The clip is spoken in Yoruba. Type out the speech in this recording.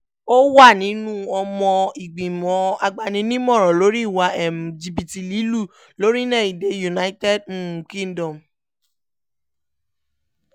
ó wà nínú ọmọ ìgbìmọ̀ agbaninímọ̀ràn lórí ìwà um jìbìtì lílù lórílẹ̀‐èdè united um kingdom